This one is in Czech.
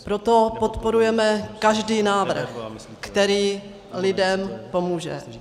Proto podporujeme každý návrh, který lidem pomůže.